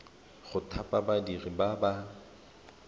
go thapa badiri ba ba